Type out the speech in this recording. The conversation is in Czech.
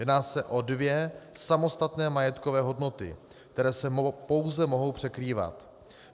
Jedná se o dvě samostatné majetkové hodnoty, které se pouze mohou překrývat.